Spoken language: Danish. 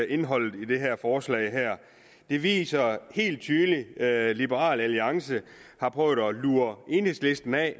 indholdet i det her forslag det viser helt tydeligt at liberal alliance har prøvet at lure enhedslisten af